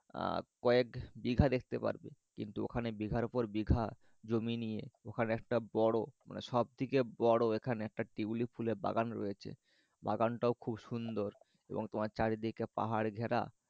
আহ কয়েক বিঘা দেখতে পারবে। কিন্তু ওখানে বিঘার পর বিঘা জমি নিয়ে ওখানে একটা বড় মানে সব থেকে বড় ওখানে একটা টিউলিপ ফুলের বাগান রয়েছে। বাগানটাও খুব সুন্দর। রবং তোমার চারিদিকে পাহাড় ঘেরা।